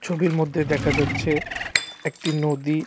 ছবির মধ্যে দেখা যাচ্ছে একটি নদী .